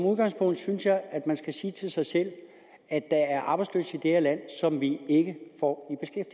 udgangspunktet synes jeg at man skal sige til sig selv at der er arbejdsløse i det her land som vi ikke får